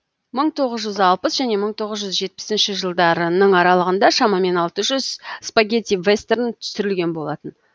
мың тоғыз жүз алпыс және мың тоғыз жүз жетпісінші жылдарының аралығында шамамен алты жүз спагетти вестерн түсірілген болатын